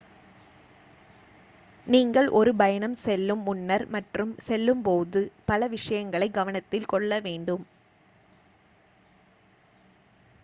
நீங்கள் ஒரு பயணம் செல்லும் முன்னர் மற்றும் செல்லும் போது பல விஷயங்களைக் கவனத்தில் கொள்ள வேண்டும்